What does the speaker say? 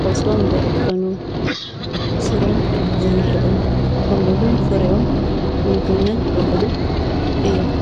ቆፅሎም ዝዕጠኑ ፣ ስሮም ዝብልዑ ከምኡ ውን ፍሪኦም ንምግብነት ዝውዕሉ እዮም፡፡